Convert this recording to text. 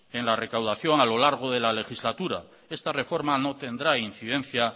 en la recaudación a lo largo de la legislatura esta reforma no tendrá incidencia